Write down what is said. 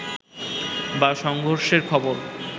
বা সংঘর্ষের খবর